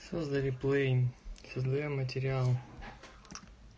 создали плей создаём материал